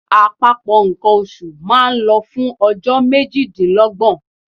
Àpapọ̀ nǹkan oṣù máa ń lọ fún ọjọ́ méjìdínlọ́gbọ̀n.